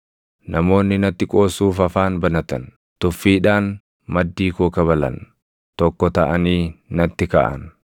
Namoonni natti qoosuuf afaan banatan; tuffiidhaan maddii koo kabalan; tokko taʼanii natti kaʼan.